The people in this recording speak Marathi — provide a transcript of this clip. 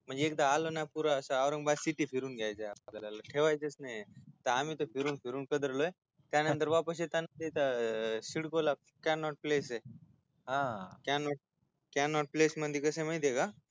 एकदा आलो ना पुरे अस औरंगाबाद सीटी फिरून घ्यायचय आपल्याला ठेवाचय नाही आम्ही तर फिरून फिरून पिदडलोय त्यांनतर वापस येताना सिडको ला कॅनोट प्लेस हा कॅनोट प्लेसय म्हणजे कसय माहितेय का